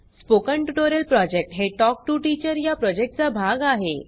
spoken tutorial project हे talk to teacher या प्रॉजेक्टचा भाग आहे